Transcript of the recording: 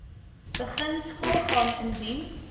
begin skoolgaan indien